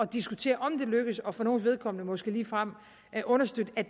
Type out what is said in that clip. diskutere om det lykkes og for nogles vedkommende måske ligefrem understøtte at